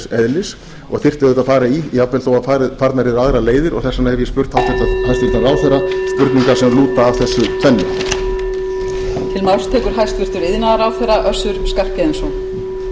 eðlis og þyrfti auðvitað að fara í jafnvel þó farnar yrðu aðrar leiðir og þess vegna hef ég spurt hæstvirtur ráðherra spurninga sem lúta að þessu tvennu